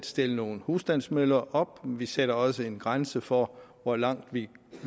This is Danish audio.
stille nogle husstandsvindmøller op vi sætter også en grænse for hvor langt vi